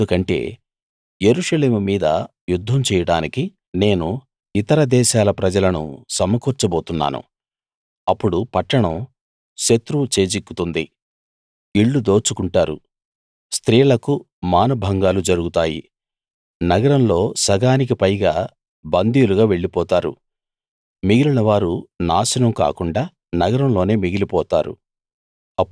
ఎందుకంటే యెరూషలేము మీద యుద్ధం చేయడానికి నేను ఇతర దేశాల ప్రజలను సమకూర్చబోతున్నాను అప్పుడు పట్టణం శత్రువు చేజిక్కుతుంది ఇళ్ళు దోచుకుంటారు స్త్రీలకు మానభంగాలు జరుగుతాయి నగరంలో సగానికి పైగా బందీలుగా వెళ్ళిపోతారు మిగిలినవారు నాశనం కాకుండా నగరంలోనే మిగిలిపోతారు